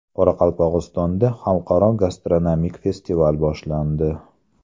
Qoraqalpog‘istonda Xalqaro gastronomik festival boshlandi.